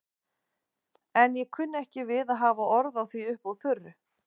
En ég kunni ekki við að hafa orð á því upp úr þurru.